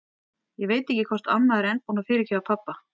Ég veit ekki hvort amma er enn búin að fyrirgefa pabba.